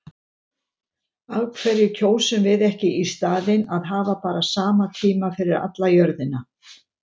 Af hverju kjósum við ekki í staðinn að hafa bara sama tíma yfir alla jörðina?